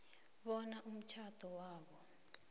bona umtjhado wabo